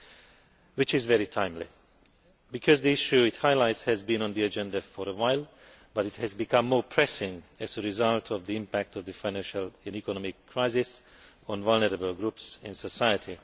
This report is very timely because the issue it highlights has been on the agenda for a while, but it has become more pressing as a result of the impact of the financial and economic crisis on vulnerable groups in society.